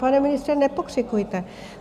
Pane ministře, nepokřikujte.